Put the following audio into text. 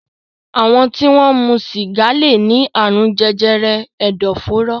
Àwọn tí wọ́n ń mu sìgá lè ní àrùn jẹjẹrẹ ẹ̀dọ̀fóró.